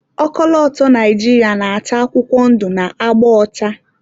ọkọlọtọ Naijiria na-acha akwụkwọ ndụ na agba ọcha